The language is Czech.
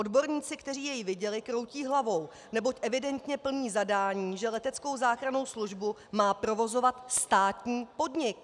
Odborníci, kteří jej viděli, kroutí hlavou, neboť evidentně plní zadání, že leteckou záchrannou službu má provozovat státní podnik.